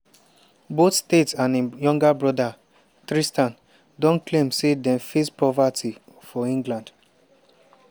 both tate and im younger broda tristan don claim say dem face poverty for england.